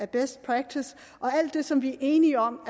best practice og alt det som vi er enige om